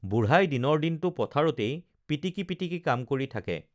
বুঢ়াই দিনৰ দিনটো পথাৰতেই পিটিকি পিটিকি কাম কৰি থাকে